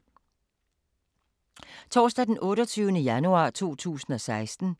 Torsdag d. 28. januar 2016